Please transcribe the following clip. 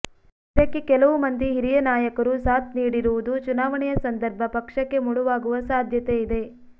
ಇದಕ್ಕೆ ಕೆಲವು ಮಂದಿ ಹಿರಿಯ ನಾಯಕರು ಸಾಥ್ ನೀಡಿರುವುದು ಚುನಾವಣೆಯ ಸಂದರ್ಭ ಪಕ್ಷಕ್ಕೆ ಮುಳುವಾಗುವ ಸಾಧ್ಯತೆ ಇದೆ